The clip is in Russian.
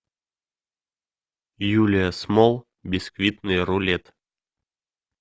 юлия смолл бисквитный рулет